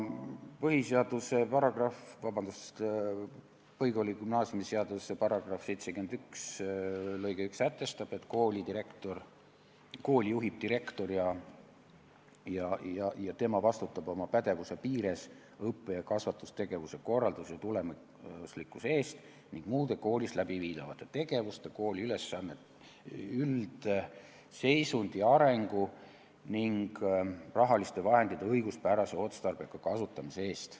Põhikooli- ja gümnaasiumiseaduse § 71 sätestab, et kooli juhib direktor ja tema vastutab oma pädevuse piires õppe- ja kasvatustegevuse korralduse ja tulemuslikkuse eest ning muude koolis läbiviidavate tegevuste, kooli üldseisundi ja arengu ning rahaliste vahendite õiguspärase ja otstarbeka kasutamise eest.